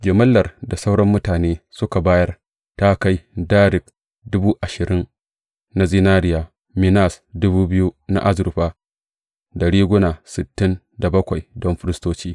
Jimillar da sauran mutane suka bayar ta kai darik dubu ashirin na zinariya, minas na azurfa, da riguna sittin da bakwai don firistoci.